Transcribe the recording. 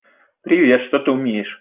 привет что ты умеешь